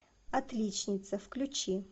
отличница включи